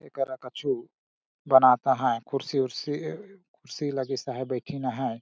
एकरा कछु बनाता अहाय कुर्सी-उरसी उरसी लगीस अहाय बैठीन अहाय।